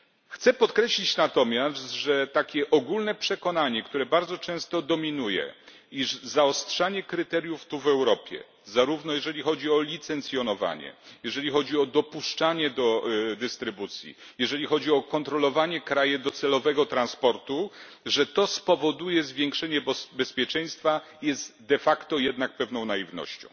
Chcę podkreślić natomiast, że takie ogólne przekonanie, które bardzo często dominuje, iż zaostrzanie kryteriów tu w Europie, zarówno jeżeli chodzi o licencjonowanie, jeżeli chodzi o dopuszczanie do dystrybucji, jeżeli chodzi o kontrolowanie kraju docelowego transportu, spowoduje zwiększenie bezpieczeństwa jest de facto jednak pewną naiwnością.